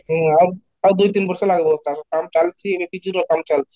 ହଁ, ଆଉ ଆଉ ଦୁଇ ତିନ ବର୍ଷ ଲାଗିବ ତା'ର କାମ ଚାଲିଛି ଏବେ କିଛିର କାମ ଚାଲିଛି